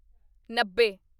ਨੱਬੇ